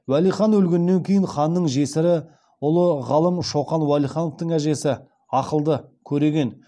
уәли хан өлгеннен кейін ханның жесірі ұлы ғалым шоқан уәлихановтың әжесі ақылды көреген